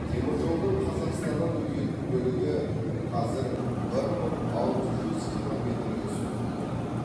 теміржолдың қазақстаннан өтетін бөлігі қазір бір мың алты жүз километрге созылып жатыр